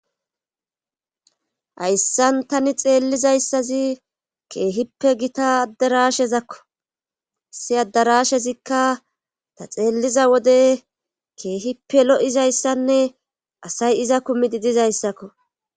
hayssan tani xeellizayssazi keehippe gita darashezakko siya darashezikka ta xeelliza wode keehippe lo7izayssanne asay iza kumidi dizayssakko